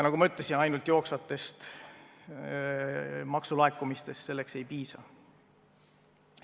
Nagu ma ütlesin, ainult jooksvatest maksulaekumistest selleks ei piisa.